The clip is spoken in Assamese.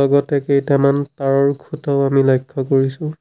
লগতে কেইটামান তাঁৰৰ খুঁটাও আমি লক্ষ্য কৰিছোঁ।